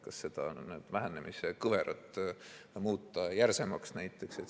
Kas seda vähenemise kõverat muuta järsemaks, näiteks?